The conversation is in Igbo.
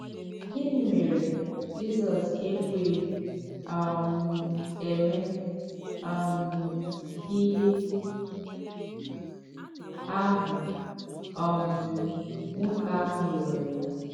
Gịnị́ mèrè Jizọs èkwèghị um èmè um íhè àhụ̀ um nwókè àhụ̀ rịọrọ̀ ya?